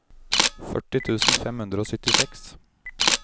førti tusen fem hundre og syttiseks